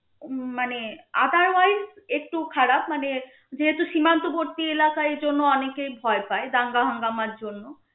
উম মানে otherwise একটু খারাপ মানে যেহেতু সীমান্তবর্তী এলাকা এই জন্য অনেকেই ভয় পায় দাঙ্গা হাঙ্গামার জন্য